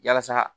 Yalasa